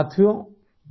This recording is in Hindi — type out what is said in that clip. सीपीटी